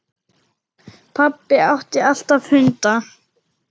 Pabbi átti alltaf hunda.